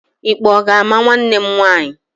Ikpe ọ ga-ama nwanne m nwaanyị?